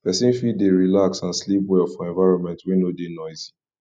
persin fit de relaxed and sleep well for environment wey no de noisy